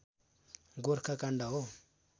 गोर्खा काण्ड हो